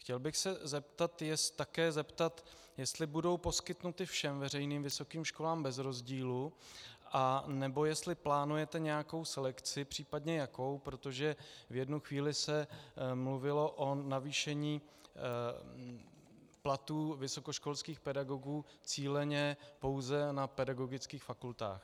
Chtěl bych se také zeptat, jestli budou poskytnuty všem veřejným vysokým školám bez rozdílů, anebo jestli plánujete nějakou selekci, případně jakou, protože v jednu chvíli se mluvilo o navýšení platů vysokoškolských pedagogů cíleně pouze na pedagogických fakultách.